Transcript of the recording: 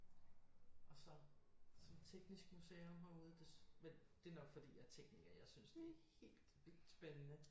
Og så teknisk museum herude men det er nok fordi jeg er tekniker jeg synes det er helt vildt spændende